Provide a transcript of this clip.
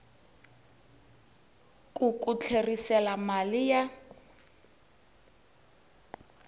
ku ku tlherisela mali ya